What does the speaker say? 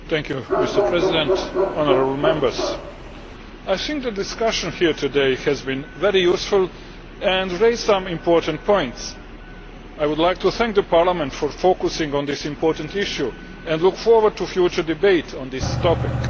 Mr President, I think the discussion here today has been very useful and raised some important points. I would like to thank Parliament for focusing on this important issue and I look forward to a future debate on this topic.